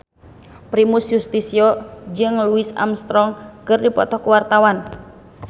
Primus Yustisio jeung Louis Armstrong keur dipoto ku wartawan